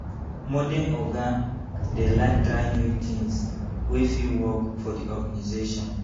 Modern oga dey like try new things wey fit work for the organisation